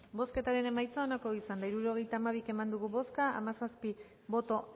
bozketaren emaitza onako izan da hirurogeita hamabi eman dugu bozka hamazazpi boto